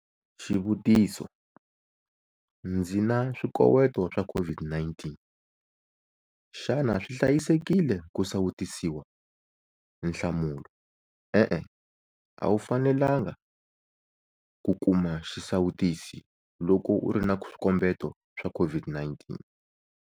Xivutiso- Ndzi na swikoweto swa COVID-19, xana swi hlayisekile ku sawutisiwa? Nhlamulo- E-e. A wu fanelangi ku kuma xisawutisi loko u ri na swikombeto swa COVID-19.